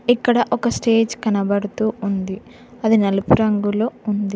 ఇక్కడ ఒక స్టేజ్ కనబడుతూ ఉంది అది నలుపు రంగులో ఉంది.